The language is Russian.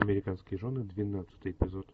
американские жены двенадцатый эпизод